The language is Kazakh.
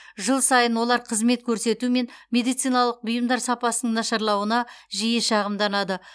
жыл сайын олар қызмет көрсету мен медициналық бұйымдар сапасының нашарлауына жиі шағымданады